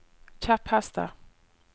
kjepphester